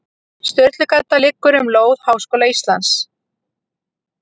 Sturlugata liggur um lóð Háskóla Íslands.